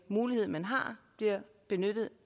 mulighed man har bliver benyttet